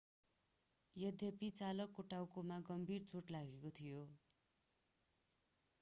यद्यपि चालकको टाउकोमा गम्भीर चोट लागेको थियो